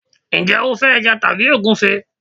njé o fe eja tabi ogunfe